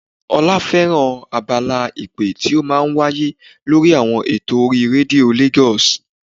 Ọlá fẹ́ràn abala ìpè tí ó máa ń wáyé lórí àwọn eto orí rédíò Lagos